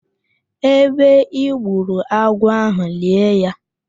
Ebe I gburu agwọ ahụ, lie ya